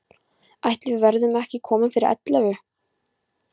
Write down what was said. Ætli við verðum ekki komin fyrir ellefu.